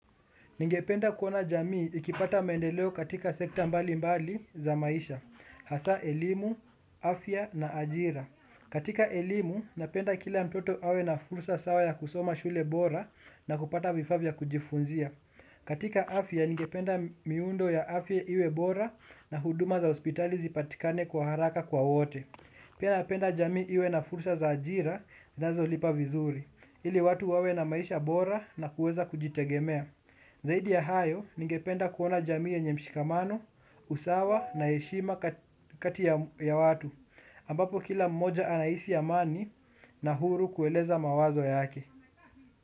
Ningependa kuona jamii ikipata maendeleo katika sekta mbalimbali za maisha, hasa elimu, afya na ajira. Katika elimu, napenda kila mtoto awe na fursa sawa ya kusoma shule bora na kupata vifaa vya kujifunzia. Katika afya, ningependa miundo ya afya iwe bora na huduma za hospitali zipatikane kwa haraka kwa wote. Pia napenda jamii iwe na fursa za ajira, zinazolipa vizuri. Ili watu wawe na maisha bora na kuweza kujitegemea. Zaidi ya hayo, ningependa kuona jamii yenye mshikamano, usawa na heshima kati ya watu, ambapo kila mmoja anahisi amani na huru kueleza mawazo yake.